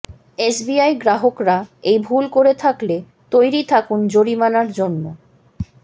SBI গ্রাহকরা এই ভুল করে থাকলে তৈরি থাকুন জরিমানার জন্য